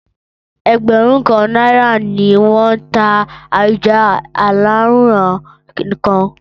Ẹgbẹ̀rún kan náírà ni wọ́n ń ta ẹja aláràn-án kan.